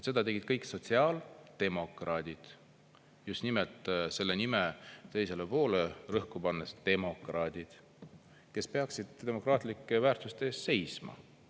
Seda tegid kõik sotsiaaldemokraadid, just nimelt selle nime teisele poole rõhku pannes – demokraadid, kes peaksid demokraatlike väärtuste eest seisma.